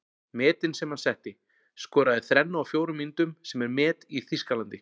Metin sem hann setti:- Skoraði þrennu á fjórum mínútum sem er met í Þýskalandi.